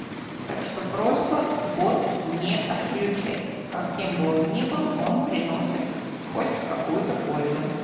так что просьба бот не отключать как кем бы он ни был он приносит хоть какую-то пользу